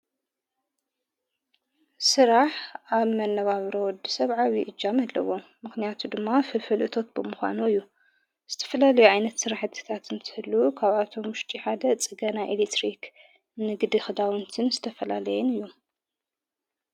ሥራሕ ኣብ መነባብሮ ወዲ ሰብኣዊ እጃም ኣለዎ ምኽንያቱ ድማ ፍልፈልእቶት ብምዃኖ እዩ ዝተፈላለዩ ኣይነት ሥራሕ ትታት እንትሕሉ ካብኣቶም ሙሽቲሓደ ጽገና ኤልትሪኽ ንግድ ኽዳውንትን ዝተፈላለየን እዩ።